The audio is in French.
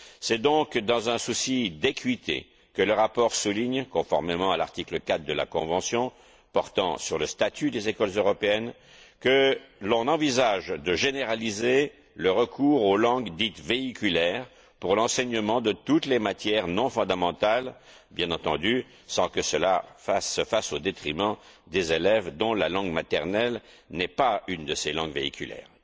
C'est donc dans un souci d'équité que le rapport souligne, conformément à l'article 4 de la Convention portant sur le statut des écoles européennes, que l'on envisage de généraliser le recours aux langues dites véhiculaires pour l'enseignement de toutes les matières non fondamentales, sans que cela se fasse, bien entendu, au détriment des élèves dont la langue maternelle n'est pas une de ces langues véhiculaires.